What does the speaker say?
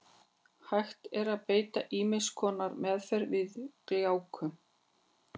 Hægt er að beita ýmiss konar meðferð við gláku.